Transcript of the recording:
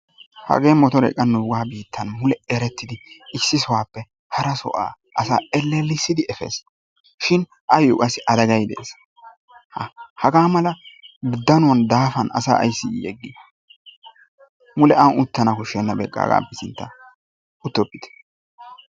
Hagee motoree qa nuugaa biittan erettidi issi sohuwaappe hara so'uwaa asaa elelissidi efeesi shin ayoo qassi adagay deesi. Ha hagaa mala danuwan daafan asaa ayssi yegii? mule an uttana koshshenna beqaa hagaappe sinttaa uttoppite.